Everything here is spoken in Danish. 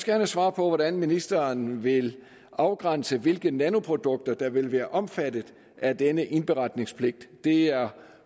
have svar på hvordan ministeren vil afgrænse hvilke nanoprodukter der vil være omfattet af denne indberetningspligt det er